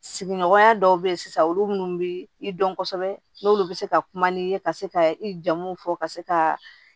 Sigiɲɔgɔnya dɔw bɛ yen sisan olu bɛ i dɔn kosɛbɛ n'olu bɛ se ka kuma n'i ye ka se ka i jamu fɔ ka se ka